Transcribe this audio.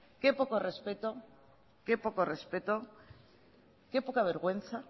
qué poco respeto qué poca vergüenza